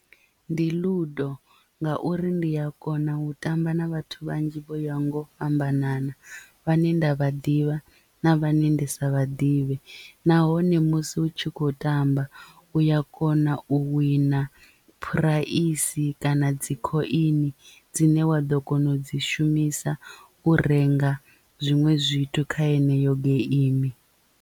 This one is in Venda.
Ndi ludo ngauri ndi ya kona u tamba na vhathu vhanzhi vho yaho nga u fhambanana vhane nda vha ḓivha na vhane ndi sa vha ḓivhe nahone musi hu tshi khou tamba u ya kona u wina phuraisi kana dzi khoini dzine wa ḓo kona u dzi shumisa u renga zwiṅwe zwithu kha yeneyo geimi.